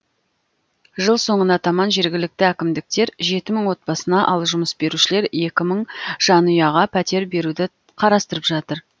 жыл соңына таман жергілікті әкімдіктер жеті мың отбасына ал жұмыс берушілер екі мың жанұяға пәтер беруді қарастырып жатыр